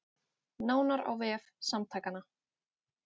Nánar á vef samtakanna